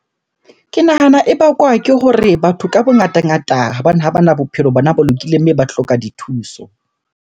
Ke nahana e bakwa ke hore batho ka bongata ngata ha bana bophelo bona bo lokileng mme ba hloka dithuso.